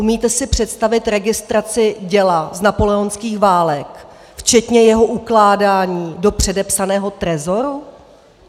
Umíte si představit registraci děla z napoleonských válek včetně jeho ukládání do předepsaného trezoru?